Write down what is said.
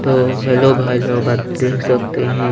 तो हेलो भाई लोग आप देख सकते है--